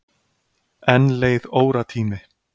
Enn leið óratími.